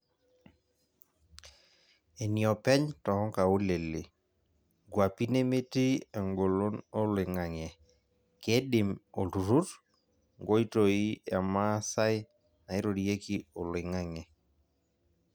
Eniopeny toongaulele ,ngwapi nemetii englon oloingang'e, kedim oltururr ngoitoi emaasai nairorieki oloing'ang'e.